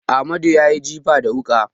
Amadu ya yi jifa da wuƙa.